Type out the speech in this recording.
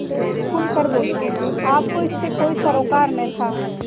खुल कर बोलेआपको इससे कोई सरोकार न था